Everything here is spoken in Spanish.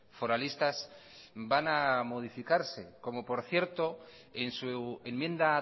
foralistas van a modificarse como por cierto en su enmienda